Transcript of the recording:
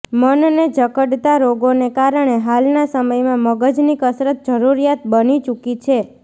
મનને જકડતા રોગોને કારણે હાલના સમયમાં મગજની કસરત જરૂરિયાત બની ચુકી છે